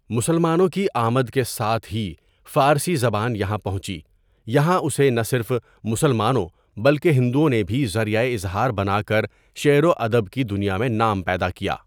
مسلمانوں کی آمد کے ساتھ ہی فارسی زبان یہاں پهنچی یہاں اسے نہ صرف مسلمانوں بلکہ هندؤں نے بھی ذریعہ اظهار بنا کر شعر و ادب کی دنیا میں نام پیدا کیا.